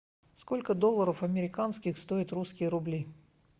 сколько долларов американских стоят русские рубли